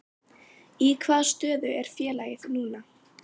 Í hvaða stöðu er félagið núna?